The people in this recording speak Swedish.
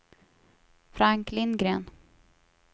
Frank Lindgren